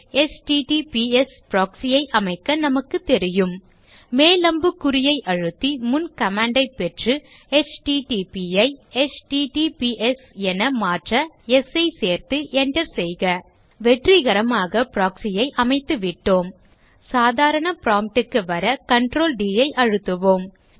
HTTPS proxy ஐ அமைக்க நமக்கு தெரியும் மேல் அம்புக்குறியை அழுத்தி முன் command ஐ பெற்று http ஐ எச்டிடிபிஎஸ் என மாற்ற ஸ் சேர்த்து enter செய்க வெற்றிகரமாக proxy ஐ அமைத்து விட்டோம் சாதாரண prompt க்கு வர Ctrl D ஐ அழுத்துவோம்